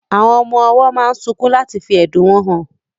Àwọn ọmọ owó máa sunkún láti fí ẹ̀dùn wọn hàn